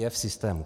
Je v systému.